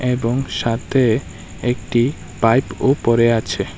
এবং সাথে একটি পাইপও পড়ে আছে।